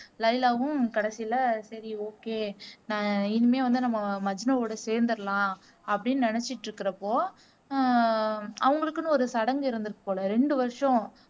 லைலாவும் கடைசில சரி ஓகே நான் இனிமே வந்து நம்ம மஜ்னுவோட சேர்ந்துடலாம் அப்படின்னு நினைச்சிட்டுருக்குறப்போ ஆஹ் அவங்களுக்குன்னு ஒரு சடங்கு இருந்திருக்கு போல ரெண்டு வருஷம்